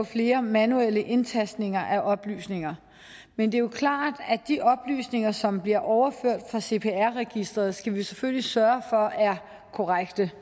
flere manuelle indtastninger af oplysninger men det er klart at de oplysninger som bliver overført fra cpr registeret skal vi selvfølgelig sørge for er korrekte